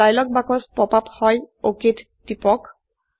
এটা ডায়লগ বাক্স pop up হয় অক টিপক